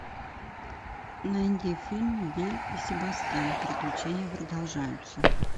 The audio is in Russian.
найди фильм белль и себастьян приключения продолжаются